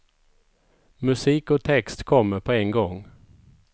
Musik och text kommer på en gång.